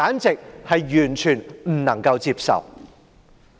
這完全不能夠接受。